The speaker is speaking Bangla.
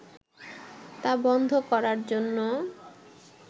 তা বন্ধ করার জন্য